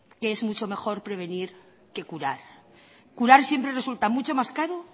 que es mucho mejor prevenir que curar curar siempre resulta mucho más caro